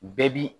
Bɛɛ bi